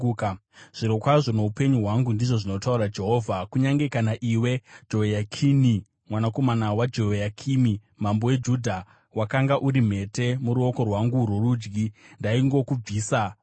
“Zvirokwazvo, noupenyu hwangu,” ndizvo zvinotaura Jehovha, “kunyange kana iwe Jehoyakini mwanakomana waJehoyakimi mambo weJudha, wakanga uri mhete muruoko rwangu rworudyi, ndaingokubvisa zvakadaro.